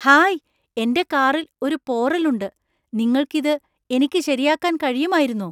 Hi! എന്‍റെ കാറിൽ ഒരു പോറൽ ഉണ്ട്, നിങ്ങൾക്ക് ഇത് എനിക്ക് ശരിയാക്കാൻ കഴിയുമായിരുന്നോ.